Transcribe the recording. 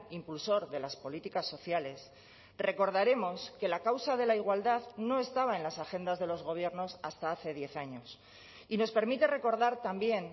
impulsor de las políticas sociales recordaremos que la causa de la igualdad no estaba en las agendas de los gobiernos hasta hace diez años y nos permite recordar también